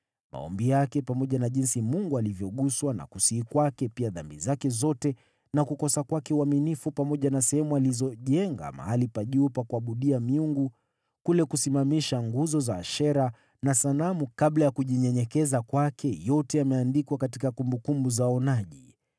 Maombi yake, pamoja na jinsi Mungu alivyoguswa na kusihi kwake, pia dhambi zake zote na kukosa kwake uaminifu pamoja na sehemu alizojenga mahali pa juu pa kuabudia miungu, kule kusimamisha nguzo za Ashera na sanamu kabla ya kujinyenyekeza kwake, yote yameandikwa katika kumbukumbu za waonaji.